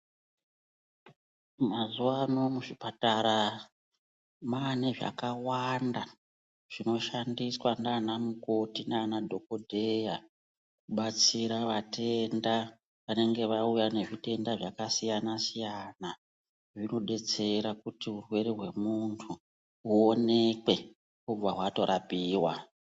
Mazuvaano muzvipatara maane zvakawanda zvinoshandiswa nana mukoto nana dhokodheya kubatsira vatenda vanenge vauya nezvirwere zvakasiyana siyana zvinobatsira kuti urwere hwemunhu huonekwe hwobva hwatorapiwa.